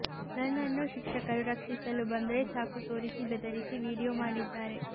ನನ್ನನ್ನು ಶಿಕ್ಷಕರು ರಕ್ಷಿಸಲು ಬಂದ್ರೆ ಚಾಕು ತೋರಿಸಿ ಬೆದರಿಸಿ ವಿಡಿಯೋ ಮಾಡಿದ್ದಾರೆ